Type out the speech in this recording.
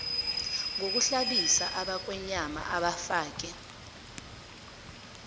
ngokuhlabisa abakhwenyana abafake